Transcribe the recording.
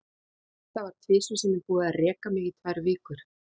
Það var tvisvar sinnum búið að reka mig í tvær vikur.